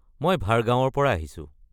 মই ভাডগাওঁৰ পৰা আহিছোঁ।